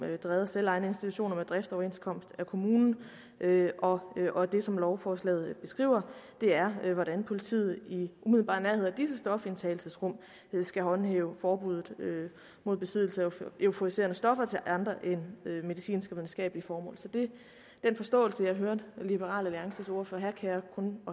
drevet af selvejende institutioner med driftsoverenskomst med kommunen og og det som lovforslaget beskriver er hvordan politiet i umiddelbar nærhed af disse stofindtagelsesrum skal håndhæve forbuddet mod besiddelse af euforiserende stoffer til andre end medicinske og videnskabelige formål så den forståelse jeg hørte liberal alliances ordfører have kan jeg kun